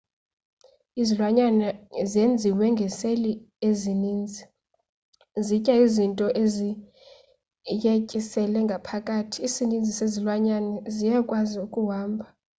izilwanyane zenziwe ngeseli ezininzi zitya izinto ziyetyisele ngaphakathi isininzi sezilwanyane ziyakwazi ukuhamba